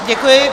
Děkuji.